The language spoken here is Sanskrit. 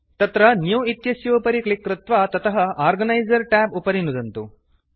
तत्र न्यू इत्यस्योपरि क्लिक् कृत्वा ततः ऑर्गनाइजर ट्याब् उपरि नुदन्तु